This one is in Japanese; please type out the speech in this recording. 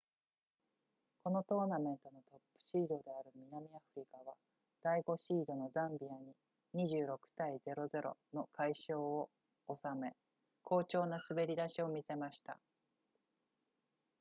このトーナメントのトップシードである南アフリカは第5シードのザンビアに 26-00 の快勝を収め好調な滑り出しを見せました